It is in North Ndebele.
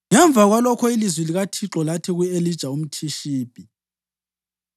Ngemva kwalokho ilizwi likaThixo lathi ku-Elija umThishibi: